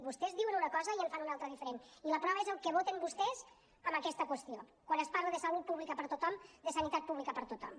vostès diuen una cosa i en fan una altra diferent i la prova és el que voten vostès en aquesta qüestió quan es parla de salut pública per a tothom de sanitat pública per a tothom